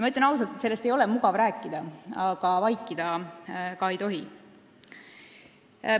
Ma ütlen ausalt, et sellest ei ole mugav rääkida, aga vaikida ka ei tohi.